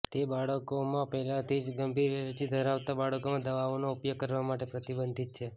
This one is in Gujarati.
તે બાળકોમાં પહેલાથી જ ગંભીર એલર્જી ધરાવતા બાળકોમાં દવાઓનો ઉપયોગ કરવા માટે પ્રતિબંધિત છે